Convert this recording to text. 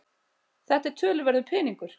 Þetta er töluverður peningur